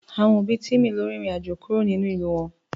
Àwọn òbí Timi lọ irin àjò kúrò nínú ìlú wọn